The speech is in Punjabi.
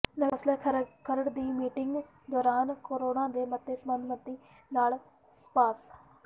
ਨਗਰ ਕੌ ਾਸਲ ਖਰੜ ਦੀ ਮੀਟਿੰਗ ਦੌਰਾਨ ਕਰੋੜਾਂ ਦੇ ਮਤੇ ਸਰਬਸੰਮਤੀ ਨਾਲ ਪਾਸ